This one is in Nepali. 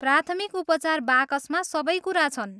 प्राथमिक उपचार बाकसमा सबै कुरा छन्।